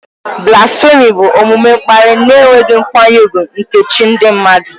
Blasfèmi bụ omume mkparị na enweghị nkwanye ùgwù nke chi ndị mmadụ.